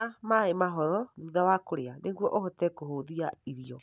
Nyua maĩ mahoro thutha wa kũrĩa nĩguo ũhote kũhũthia irio.